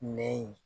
Nɛ ye